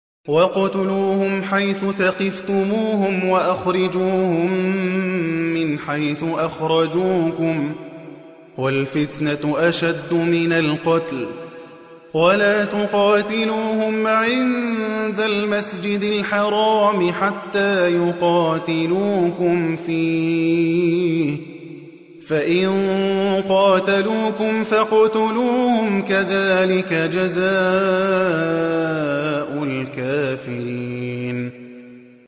وَاقْتُلُوهُمْ حَيْثُ ثَقِفْتُمُوهُمْ وَأَخْرِجُوهُم مِّنْ حَيْثُ أَخْرَجُوكُمْ ۚ وَالْفِتْنَةُ أَشَدُّ مِنَ الْقَتْلِ ۚ وَلَا تُقَاتِلُوهُمْ عِندَ الْمَسْجِدِ الْحَرَامِ حَتَّىٰ يُقَاتِلُوكُمْ فِيهِ ۖ فَإِن قَاتَلُوكُمْ فَاقْتُلُوهُمْ ۗ كَذَٰلِكَ جَزَاءُ الْكَافِرِينَ